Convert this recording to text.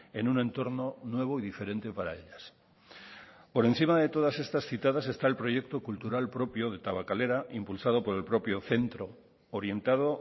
en un entorno nuevo y diferente para ellas por encima de todas estas citadas está el proyecto cultural propio de tabakalera impulsado por el propio centro orientado